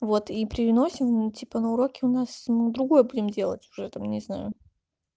вот и приносим ну типа на уроке у нас мы другое будем делать уже там не знаю